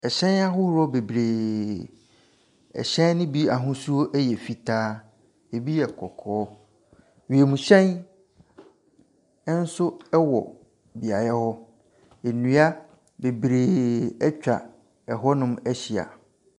Hyɛn ahodoɔ bebree. Hyɛn no bi ahosuo yɛ fitaa, bi yɛ kɔkɔɔ. Wiemhyɛ nso wɔ beaeɛ hɔ. Nnua bebree atwa hɔnom ahyia.